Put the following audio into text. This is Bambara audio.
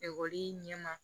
Ekɔli ɲɛma